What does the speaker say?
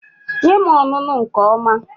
Nye m ọnụnụ nke ọma